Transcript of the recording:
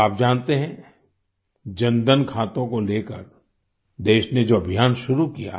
अब आप जानते हैं जनधन खातों को लेकर देश ने जो अभियान शुरू किया